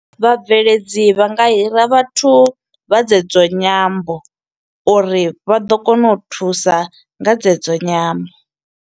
Vhabveledzi vha nga hira vhathu vha dze dzo nyambo, uri vha ḓo kona u thusa nga dze dzo nyambo.